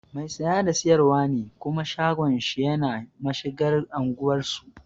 Mai saya da sayarwa ne kuma shagon shi yana mashigar anguwar su